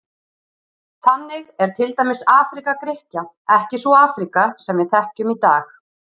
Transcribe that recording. Þannig er til dæmis Afríka Grikkja ekki sú Afríka sem við þekkjum í dag.